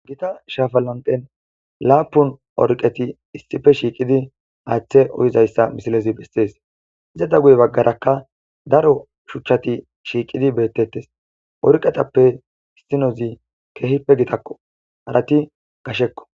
Gita shafalanten laapun orqeti issife shiiqidi aaththe uyizayssa misilezi bessees iza da guye baggarakka daro shuchchati shiiqidi beettettes orqetappe issinozi keehippe gitakko harati gashekko.